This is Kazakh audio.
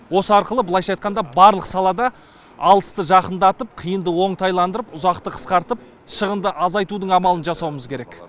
осы арқылы былайша айтқанда барлық салада алысты жақындатып қиынды оңтайландырып ұзақты қысқартып шығынды азайтудың амалын жасауымыз керек